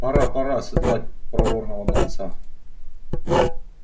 пора пора седлать проворного донца